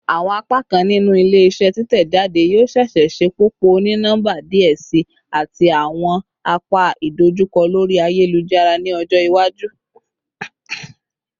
Awọn apakan ninu ile-iṣẹ titẹjade yoo ṣee ṣe ṣepọpọ oni-nọmba diẹ sii ati awọn apa idojukọ lori ayelujara ni ọjọ iwaju